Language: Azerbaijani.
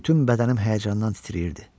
Bütün bədənim həyəcandan titrəyirdi.